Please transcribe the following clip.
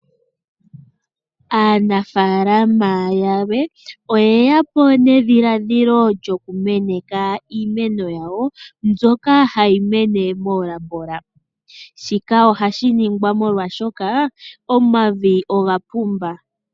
Aanafaalama yamwe oye ya po nedhiladhilo lyo ku meneka iimeno yawo mbyoka hayi mene meni lyomatungo. Shika ohashi ningwa oshoka omavi oga pumba.